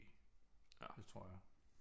Det tror jeg